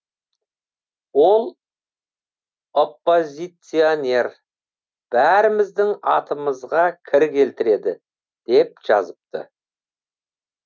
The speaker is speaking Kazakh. ол оппозиционер бәріміздің атымызға кір келтіреді деп жазыпты